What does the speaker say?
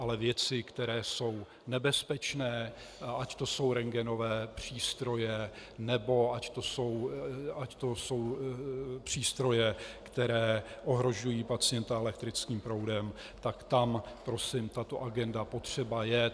Ale věci, které jsou nebezpečné, ať to jsou rentgenové přístroje nebo ať to jsou přístroje, které ohrožují pacienta elektrickým proudem, tak tam prosím tato agenda potřeba je.